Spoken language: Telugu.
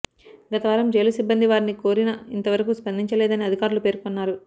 గత వారం జైలు సిబ్బంది వారిని కోరిన ఇంతవరకు స్పందించలేదని అధికారులు పేర్కొన్నారు